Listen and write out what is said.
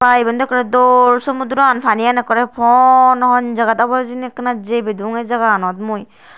Aa iben daw ekkore dol somudroan panian ekkore pon hon jagat obo hijeni ekkena jei pedung ei jaganot mui.